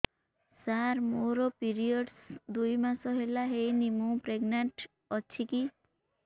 ସାର ମୋର ପିରୀଅଡ଼ସ ଦୁଇ ମାସ ହେଲା ହେଇନି ମୁ ପ୍ରେଗନାଂଟ ଅଛି କି